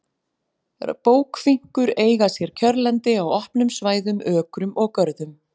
Bókfinkur eiga sér kjörlendi á opnum svæðum, ökrum og görðum.